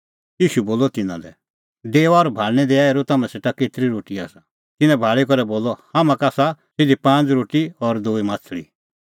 ईशू बोलअ तिन्नां लै डेओआ और भाल़णीं दैआ हेरुं तम्हां सेटा केतरी रोटी आसा तिन्नैं भाल़ी करै बोलअ हाम्हां का आसा सिधी पांज़ रोटी और दूई माह्छ़ली